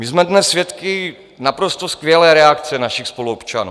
My jsme dnes svědky naprosto skvělé reakce našich spoluobčanů.